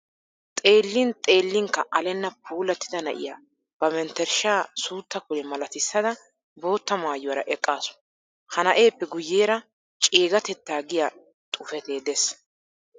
Xeellin xeellinkka alenna puulattida na'iya ba menttershshaa suutta kule malatissada bootta maayuwara eqqaasu. Ha na'eeppe guyyeera ceegatettaa giya xuufetee de'es.